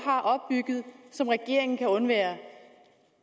har opbygget som regeringen kan undvære